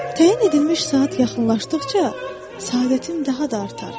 Təyin edilmiş saat yaxınlaşdıqca səadətim daha da artar.